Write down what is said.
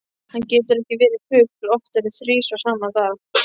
Hann getur ekki verið fugl oftar en þrisvar sama dag.